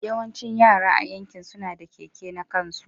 Yawancin yara a yankin suna, da keke na kansu.